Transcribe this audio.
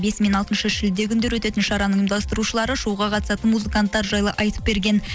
бесі мен алтыншы шілде күндері өтетін шараның ұйымдастырушылары шоуға қатысатын музыканттар жайлы айтып берген